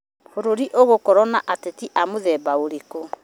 Bũrũri ũgũkũrio nĩ ateti a mũthemba ũrĩkũ?